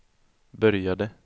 började